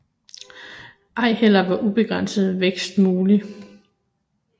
Ej heller var ubegrænset vækst mulig